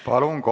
Palun!